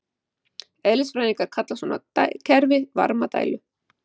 Eðlisfræðingar kalla svona kerfi varmadælu.